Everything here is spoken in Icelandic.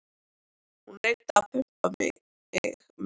Hún reyndi að pumpa mig meira.